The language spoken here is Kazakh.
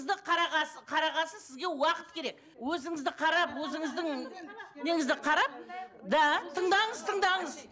қарағасын сізге уақыт керек өзіңізді қарап өзіңіздің неңізді қарап да тыңдаңыз тыңдаңыз